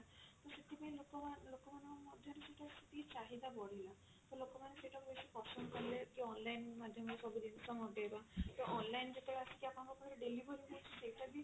ତ ସେଥିପାଇଁ ଲୋକ ଲୋକମାନଙ୍କ ମଧ୍ୟ ରେ ସେଟା ସେତିକି ଚାହିଦା ବଢିଲା ତ ଲୋକ ମାନେ ସେଇଟା କୁ ବେସି ପସନ୍ଦ କଲେ କି online ମାଧ୍ୟମ ରେ ସବୁ ଜିନିଷ ମଗେଇବା ତ online ଯେତେବେଳେ ଆସିକି ଆପଣଙ୍କ ପାଖେ delivery ହଉଛି ସେଇଟା ବି